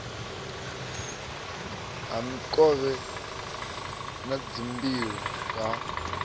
ha mikovhe na dzimbilo ha